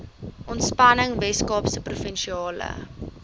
ontspanning weskaapse provinsiale